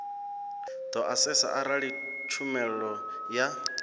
do asesa arali tshumelo ya